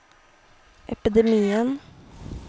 epidemien